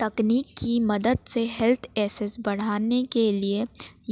तकनीक की मदद से हेल्थ एसेस बढ़ाने के लिए